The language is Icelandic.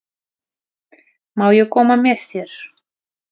Má ég koma með þér?